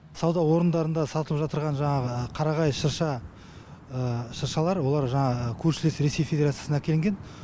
сауда орындарында сатылып жатырған жаңағы қарағай шырша шыршалар олар жаңағы көршілес ресей федерациясынан әкелінген